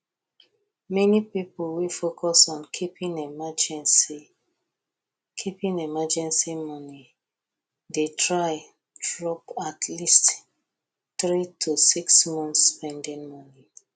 many people wey focus on keeping emergency keeping emergency money dey try drop atleast three to six month spending money